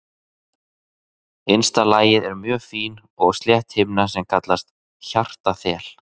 Innsta lagið er mjög fín og slétt himna sem kallast hjartaþel.